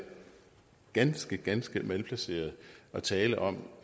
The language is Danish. ganske ganske malplaceret at tale om